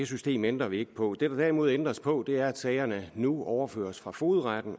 system ændrer vi ikke på det der derimod ændres på er at sagerne nu overføres fra fogedretten